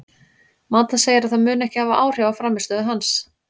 Mata segir að það muni ekki hafa áhrif á frammistöðu hans.